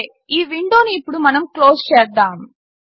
సరే ఈ విండోను ఇప్పుడు మనం క్లోస్ చేద్దాము